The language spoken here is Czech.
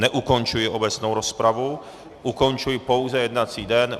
Neukončuji obecnou rozpravu, ukončuji pouze jednací den.